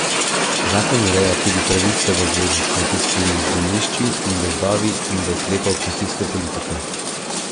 Zakon ureja tudi pravice v zvezi s kmetijskimi zemljišči in gozdovi in do ukrepov kmetijske politike.